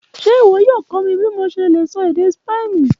Ṣe iwọ yoo kọ mi bi mo ṣe le sọ ede Spani?